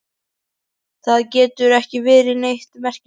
Það getur ekki verið neitt merkilegt.